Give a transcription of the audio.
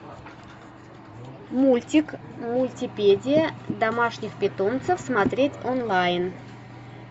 мультик мультипедия домашних питомцев смотреть онлайн